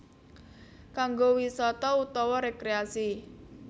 Kanggo wisata utawa rekreasi